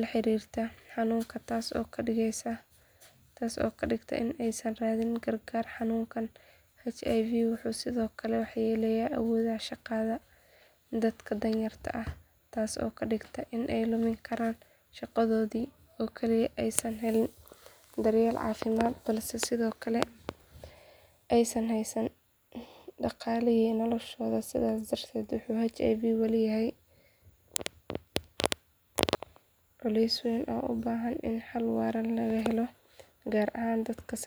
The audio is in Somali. la xiriirta xanuunka taasoo ka dhigta in aysan raadin gargaar xanuunka HIV wuxuu sidoo kale waxyeelleeyaa awooda shaqada dadka danyarta ah taasoo ka dhigta in ay lumin karaan shaqadoodii oo keliya aysan helin daryeel caafimaad balse sidoo kale aysan haysan dhaqaalihii noloshooda sidaas darteed wuxuu HIV weli yahay culays weyn oo u baahan in xal waara loo helo gaar ahaan dadka saboolka ah.